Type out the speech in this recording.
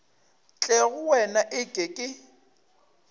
tle go wena eke ke